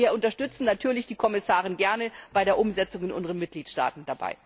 Wir unterstützen natürlich die Kommissarin gerne bei der Umsetzung in unseren Mitgliedstaaten.